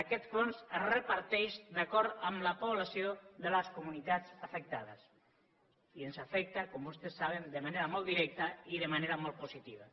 aquest fons es reparteix d’acord amb la població de les comunitats afectades i ens afecta com vostès saben de manera molt directa i de manera molt positiva